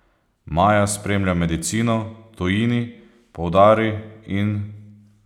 Maja spremlja medicino, v tujini, poudari, in ...